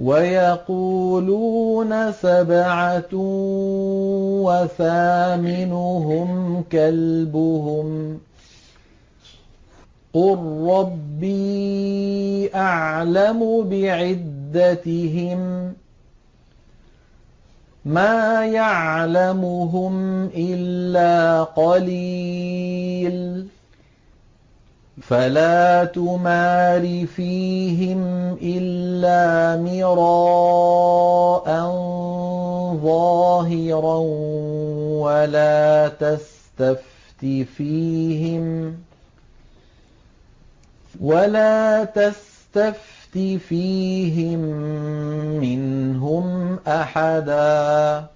وَيَقُولُونَ سَبْعَةٌ وَثَامِنُهُمْ كَلْبُهُمْ ۚ قُل رَّبِّي أَعْلَمُ بِعِدَّتِهِم مَّا يَعْلَمُهُمْ إِلَّا قَلِيلٌ ۗ فَلَا تُمَارِ فِيهِمْ إِلَّا مِرَاءً ظَاهِرًا وَلَا تَسْتَفْتِ فِيهِم مِّنْهُمْ أَحَدًا